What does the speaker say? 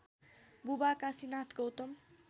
बुबा काशीनाथ गौतम